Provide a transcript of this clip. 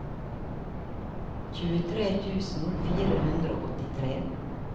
tjuetre tusen fire hundre og åttitre